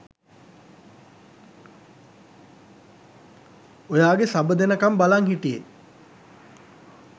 ඔයාගේ සබ දෙනකම් බලන් හිටියේ